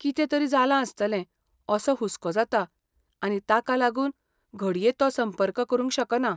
कितें तरी जालां आसतलें असो हुस्को जाता आनी ताका लागून घडये तो संपर्क करूंक शकना.